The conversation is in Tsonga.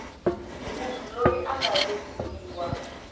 munhu loyi a nga vekiwa